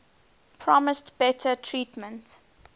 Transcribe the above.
promised better treatment